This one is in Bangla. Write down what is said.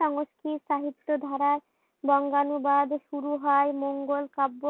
সংস্কৃত সাহিত্য ধারায় বঙ্গানুবাদ শুরু হয় মঙ্গোল কাব্য,